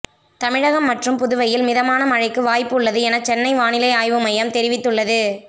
தமிழகம் மற்றும் புதுவையில் மிதமான மழைக்கு வாய்ப்பு உள்ளது என சென்னை வானிலை ஆய்வு மையம் தெரிவித்து உள்ளது